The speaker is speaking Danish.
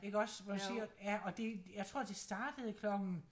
Iggås hvor siger ja og det jeg tror det startede klokken